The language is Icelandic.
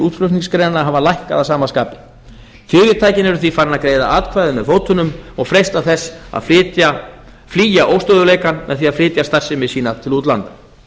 útflutningsgreinanna hafa lækkað að sama skapi fyrirtækin eru því farin að greiða atkvæði með fótunum og freista þess að flýja óstöðugleikann með að flytja starfsemi sína til útlanda